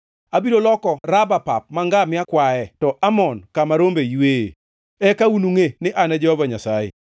Abiro loko Raba pap ma ngamia kwaye to Amon kama rombe yweye. Eka unungʼe ni An e Jehova Nyasaye.